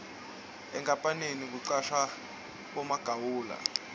enkapaneni kucashwe bomagawula